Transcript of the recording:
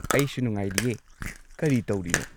ꯑꯩꯁꯨ ꯅꯨꯡꯉꯥꯏꯔꯤꯌꯦ꯫ ꯀꯔꯤ ꯇꯧꯔꯤꯅꯣ?